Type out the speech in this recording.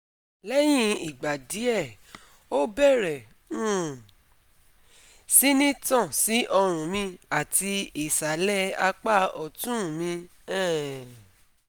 Leyin igba die, o bere um si ni tan si orun mi ati isale apa otun mi um